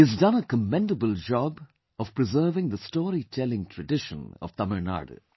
He has done a commendable job of preserving the story telling tradition of Tamil Nadu